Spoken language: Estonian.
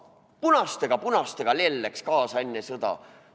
Punastega, punastega lell läks kaasa enne sõda.